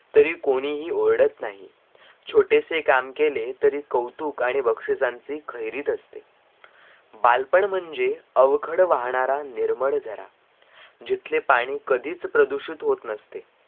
तरी कोणीही ओरड़त नाही छोटे से काम केले तरी कौतुक आणी बक्षिसांची खैरीत असते बालपण म्हणजे अवखड वाहनारा निर्मळ झरा जीतले पाणी कधीच प्रदूषित होत नस्ते